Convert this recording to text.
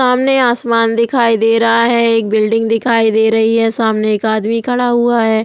सामने आसमान दिखाई दे रहा है एक बिल्डिंग दिखाई दे रही है। सामने एक आदमी खड़ा हुआ है।